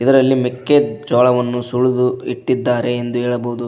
ಅದರಲ್ಲಿ ಮೆಕ್ಕೆಜೋಳವನ್ನು ಸುಳುದು ಇಟ್ಟಿದ್ದಾರೆ ಎಂದು ಹೇಳಬಹುದು.